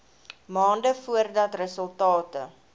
maande voordat resultate